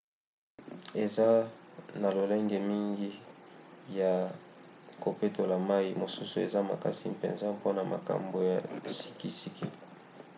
eza na lolenge mingi ya kopetola mai mosusu eza makasi mpenza mpona makama ya sikisiki